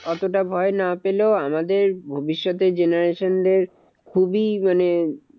অতটা ভয় না পেলেও আমাদের ভবিষ্যতের generation দের খুবই মানে